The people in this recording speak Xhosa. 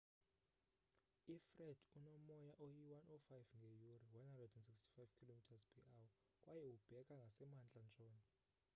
ifred unomoya oyi-105 ngeyure 165km/h kwaye ubheka ngasemantla ntshona